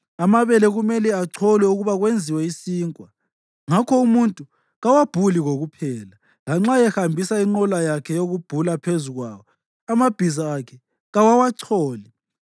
Amabele kumele acholwe ukuba kwenziwe isinkwa, ngakho umuntu kawabhuli kokuphela. Lanxa ehambisa inqola yakhe yokubhula phezu kwawo, amabhiza akhe kawawacholi.